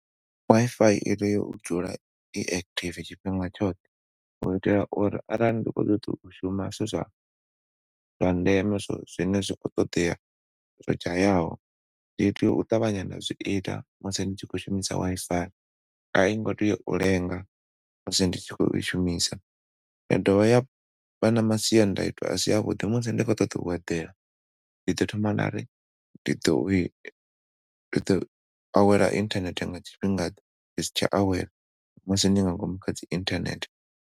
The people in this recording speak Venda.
Wi-Fi itea u dzula i active tshifhinga tshoṱhe u itela uri arali ndi khou ṱoḓa u shuma zwa ndeme zwine zwiko ṱoḓea zwo dzhaya ho tea u ṱavhanya na zwiita musi ni tshi khou shumisa Wi-Fi ai ngo tea u lenga musi ndi tshi khou i shumisa. Ya dovha ya vha na masiandaitwa asi avhuḓi musi ndi khou ṱoḓa u eḓela ndi ḓo thoma nda ri ndi ḓo awela inthanethe nga tshifhinga ḓe, ndi si tsha awela musi ndi nga ngomu kha dzi inthanethe.